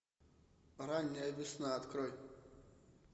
ранняя весна открой